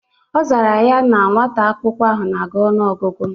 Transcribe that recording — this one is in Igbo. Ọ zara ya na nwata akwụkwọ ahụ na-agụ ọnụ ọgụgụ